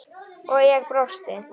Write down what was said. og ég brosti.